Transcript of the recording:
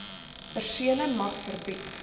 persele mag verbied